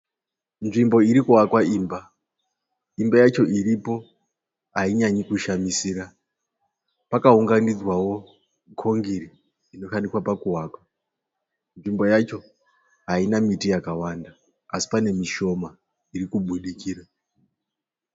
Nzvimbo iri kuvakwa imba. Imba yacho ripo ainyanyi kushamisira. Pakaunganidzwawo kongiri inoshandiswa pakuvaka. Nzvimbo yacho haina miti yakawanda asi pane mishona iri kubudikira.